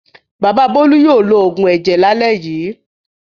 Bàbá Bólú yóò lo òògùn ẹ̀jẹ̀ lálẹ́ yìí.